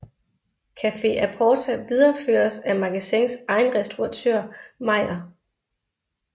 Cafe A Porta videreføres af Magasins egen restauratør Meier